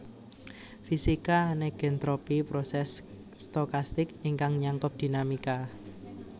Fisika negentropy proses stokastik ingkang nyangkup dinamika